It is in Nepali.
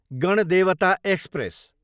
गणदेवता एक्सप्रेस